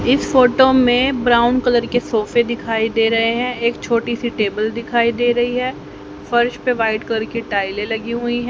इस फोटो में brown colour के सोफे दिखाई दे रहे हैं एक छोटी सी टेबल दिखाई दे रही है फर्श पे व्हाइट कलर के टाइले लगी हुईं है।